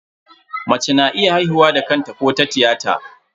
Mace na iya haihuwa da kanta ko ta tiyata.